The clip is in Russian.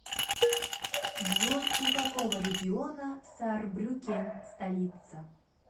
джой у какого региона саарбрюккен столица